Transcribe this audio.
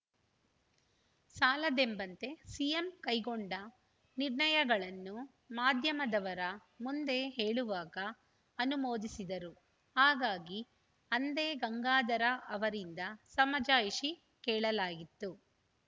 ಸಾಲದೆಂಬಂತೆ CM ಕೈಗೊಂಡ ನಿರ್ಣಯಗಳನ್ನು ಮಾಧ್ಯಮದವರ ಮುಂದೆ ಹೇಳುವಾಗ ಅನುಮೋದಿಸಿದರು ಹಾಗಾಗಿ ಅಂದೇ ಗಂಗಾಧರ ಅವರಿಂದ ಸಮಜಾಯಿಷಿ ಕೇಳಲಾಗಿತ್ತು